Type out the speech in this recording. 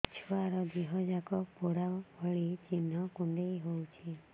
ଛୁଆର ଦିହ ଯାକ ପୋଡା ଭଳି ଚି଼ହ୍ନ କୁଣ୍ଡେଇ ହଉଛି